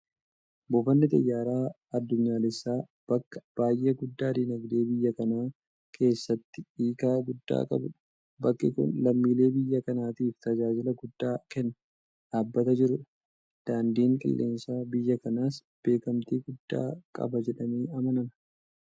Buufanni Xiyyaara Itoophiyaa addunyaalessaa bakka baay'ee guddaa diinagdee biyya kanaa keessatti hiika guddaa qabuudha. Bakki kun lammiilee biyya kanaatiif tajaajila guddaa kennaa dhaabbata jiruudha. Daandiin qilleensaa biyya kanaas beekamtii guddaa qaba jedhamee amanama.